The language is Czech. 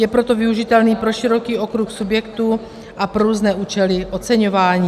Je proto využitelný pro široký okruh subjektů a pro různé účely oceňování.